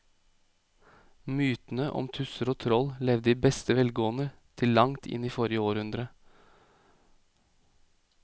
Mytene om tusser og troll levde i beste velgående til langt inn i forrige århundre.